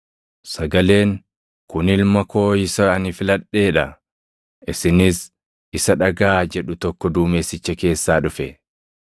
Sagaleen, “Kun Ilma koo isa ani filadhee dha; isinis isa dhagaʼaa” jedhu tokko duumessicha keessaa dhufe.